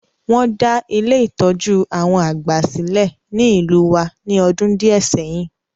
Won da Ile-itọju àwon àgbà silẹ̀ ni ìlú wa ni ọdún díẹ̀ sẹyin.